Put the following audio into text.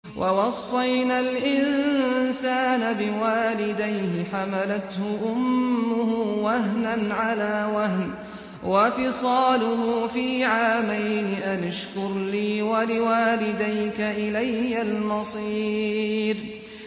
وَوَصَّيْنَا الْإِنسَانَ بِوَالِدَيْهِ حَمَلَتْهُ أُمُّهُ وَهْنًا عَلَىٰ وَهْنٍ وَفِصَالُهُ فِي عَامَيْنِ أَنِ اشْكُرْ لِي وَلِوَالِدَيْكَ إِلَيَّ الْمَصِيرُ